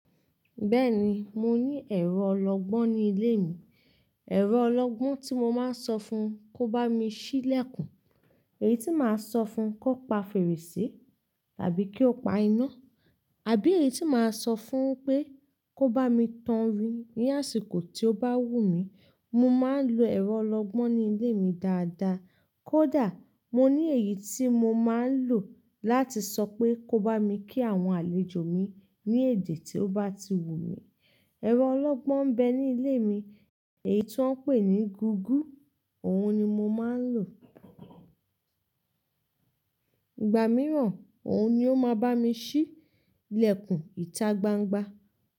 Bẹ́ẹ̀ni, mo ní ẹ̀rọ ọlọgbọ́n ní ilé mi. Ẹ̀rọ ọlọgbọ́n tí mo máa ń sọ fún kó bá mi ṣí ìlẹ̀kùn, èyí tí màá sọ fún kó pa fèrèsé tàbí kí ó pa iná. Àbí èyí tí màá sọ fún wipé kó bá mi tan ohun ní àsìkò tí ó bá wù mí. Mo máa ń lo ẹ̀rọ ọlọ́gbọ́n ní ilé mi dáadáa. Kódà mo ní èyí tí mo máa ń lò láti sọ pé kó bá mi kí àwọn àlejò mi ní èdè tí ó bá ti wù mí. Ẹ̀rọ ọlọ́gbọ́n ń bẹ ní ilé mi, èyí tí wọ́n ń pè ní gúgú, òhun ni mo máa ń lò. Ìgbà mìíràn, òun ni ó máa bá mi ṣí ìlẹ̀kùn ìta gbangba.